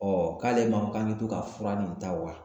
k'ale ma k'an bɛ to ka fura nin ta wa